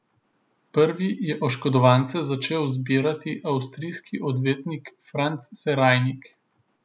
Prvi je oškodovance začel zbirati avstrijski odvetnik Franz Serajnik.